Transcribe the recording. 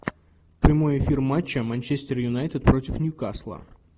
прямой эфир матча манчестер юнайтед против нью касла